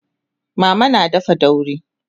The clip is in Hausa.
mama na dafa daurin